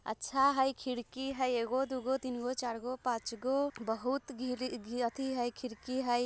अच्छा हई खिड़की हई एगो दुगो तीनगो चारगो पांचगो बहुत खिड़की हई।